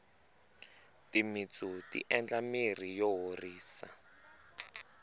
timintsu ti endla mirhi yo horisa